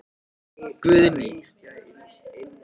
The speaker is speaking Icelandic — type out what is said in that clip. Guðný: Og það er, það er nóg af eldunarplássi hérna?